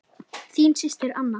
Þín systir Anna.